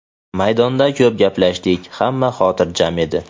Maydonda ko‘p gaplashdik, hamma xotirjam edi.